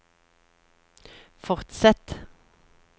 fortsett